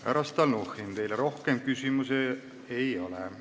Härra Stalnuhhin, teile rohkem küsimusi ei ole.